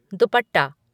दुपट्टा